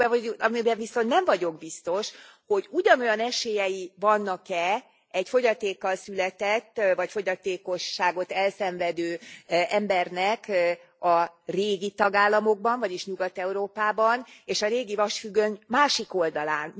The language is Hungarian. Amiben viszont nem vagyok biztos, hogy ugyanolyan esélyei vannak e egy fogyatékkal született vagy fogyatékosságot elszenvedő embernek a régi tagállamokban, vagyis Nyugat Európában és a régi vasfüggöny másik oldalán.